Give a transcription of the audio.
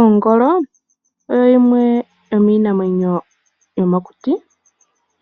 Ongolo oyo yimwe yomiinamwenyo yomokuti